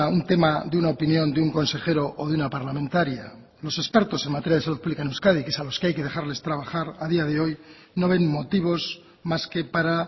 un tema de una opinión de un consejero o de una parlamentaria los expertos en salud pública en euskadi que es a los que hay que dejarles trabajar a día de hoy no ven motivos más que para